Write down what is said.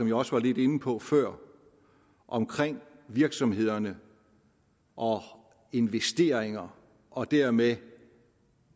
jeg også var lidt inde på før omkring virksomhederne og investeringer og dermed